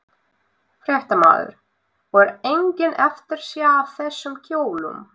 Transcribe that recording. Fréttamaður: Og er engin eftirsjá af þessum kjólum?